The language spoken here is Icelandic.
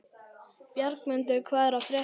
Bjargmundur, hvað er að frétta?